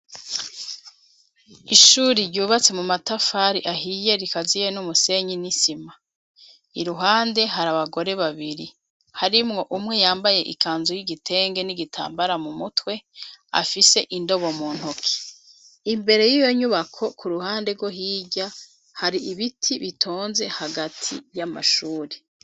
Ishuri ryubatse mu matafari ahiye rikaziye n'umusenyi n'isima .Iruhande hari abagore babiri arimwo umwe yambaye ikanzu y'igitenge n'igitambara mu mutwe afise indobo mu ntoki imbere y'iyo nyubako ku ruhande rwo hirya hari ibiti bitonze hagati y'amashuri.